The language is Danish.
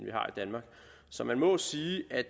danmark så man må sige at